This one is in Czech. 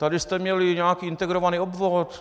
Tady jste měli nějaký integrovaný obvod!